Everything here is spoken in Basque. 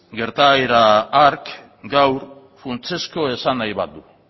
gertaera hark gaur funtsezko esanahi bat du